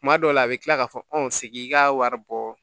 Tuma dɔw la a bɛ tila k'a fɔ segin ka wari bɔ